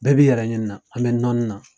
Bɛɛ b'i yɛrɛ ɲini na an bɛ nɔni na.